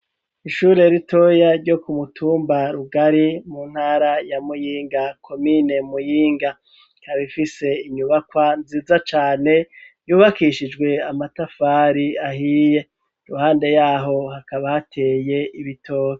Ishuri ritoya ryo ku mutumba Rugari mu ntara ya Muyinga comine Muyinga ikaba ifise inyubakwa nziza cane yubakishijwe amatafari ahiye iruhande yaho hakaba hateye ibitoki.